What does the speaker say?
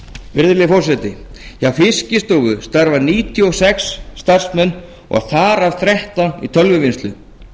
virðulegi forseti hjá fiskistofu starfa níutíu og sex starfsmenn og þar af þrettán í tölvuvinnslu